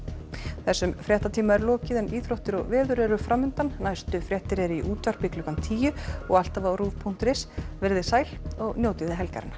þessum fréttatíma er lokið en íþróttir og veður eru framundan næstu fréttir eru í útvarpi klukkan tíu og alltaf á punktur is veriði sæl og njótið helgarinnar